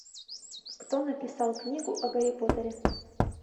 кто написал книгу о гарри поттере